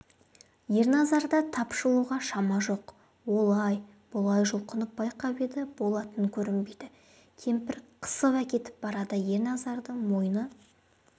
ерназарда тапжылуға шама жоқ олай-бұлай жұлқынып байқап еді болатын көрінбейді кемпір қысып әкетіп барады ерназардың мойны